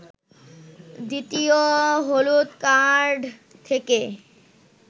দ্বিতীয় হলুদ কার্ড থেকে